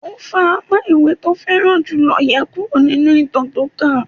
Ó fa apá ìwé tó fẹ́ràn jù lọ yá kúrò nínú ìtàn tó ń kà